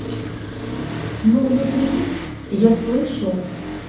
но внутри я слышу